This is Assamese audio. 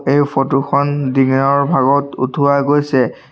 এই ফটো খন দিনৰ ভাগত উঠোৱা গৈছে।